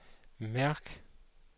mærk